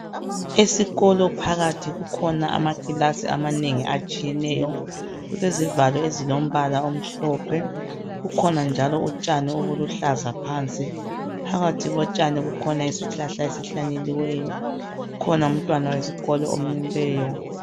Esikolo phakathi kukhona amakilasi amanengi atshiyeneyo. Kulezivalo ezilombala omhlophe, kukhona njalo utshani oluhlaza phansi. Phakathi kotshani kukhona isihlahla esihlanyeliweyo, kukhona umntwana wesikolo omileyo.